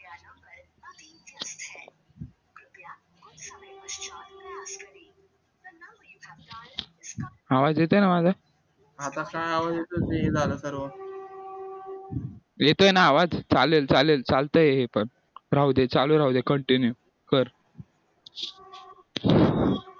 आवाज येतोय ना माझा येतोय ना आवाज चालेल चालेल चालतय हे पण राहू दे चालू राहू दे continue search